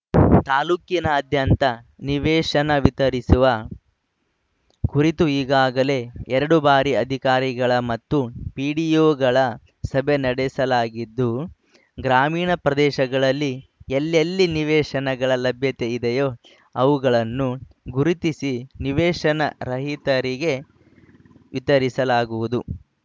ತಾಲೂಕಿನಾದ್ಯಂತ ನಿವೇಶನ ವಿತರಿಸುವ ಕುರಿತು ಈಗಾಗಲೇ ಎರಡು ಬಾರಿ ಅಧಿಕಾರಿಗಳ ಮತ್ತು ಪಿಡಿಒಗಳ ಸಭೆ ನಡೆಸಲಾಗಿದ್ದು ಗ್ರಾಮೀಣ ಪ್ರದೇಶಗಳಲ್ಲಿ ಎಲ್ಲೆಲ್ಲಿ ನಿವೇಶನಗಳ ಲಭ್ಯತೆ ಇದೆಯೋ ಅವುಗಳನ್ನು ಗುರುತಿಸಿ ನಿವೇಶನ ರಹಿತರಿಗೆ ವಿತರಿಸಲಾಗುವುದು